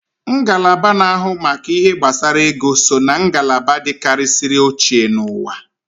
Ngalaba na ahụ maka ihe gbasara ego so ná ngalaba dikarisiri ochie n'uwa